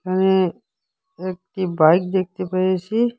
এখানে একটি বাইক দেখতে পেয়েছি।